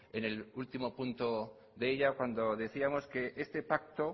en el último punto de ella cuando decíamos que ese pacto